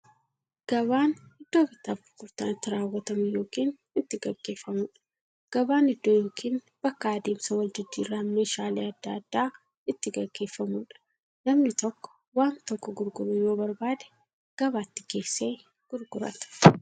Gabaan iddoo bittaaf gurgurtaan itti raawwatu yookiin itti gaggeeffamuudha. Gabaan iddoo yookiin bakka adeemsa waljijjiiraan meeshaalee adda addaa itti gaggeeffamuudha. Namni tokko waan tokko gurguruu yoo barbaade, gabaatti geessee gurgurata.